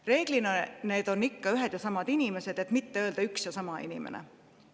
Reeglina on need ühed ja samad inimesed, et mitte öelda üks ja sama inimene.